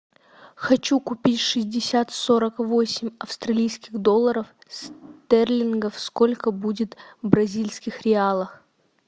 хочу купить шестьдесят сорок восемь австралийских долларов стерлингов сколько будет в бразильских реалах